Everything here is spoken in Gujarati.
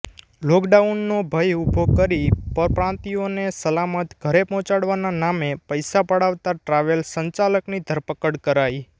લોકડાઉનનો ભય ઉભો કરી પરપ્રાંતીયોને સલામત ઘરે પહોંચડવાના નામે પૈસા પડાવતા ટ્રાવેલ્સ સંચાલકની ધરપકડ કરાઈ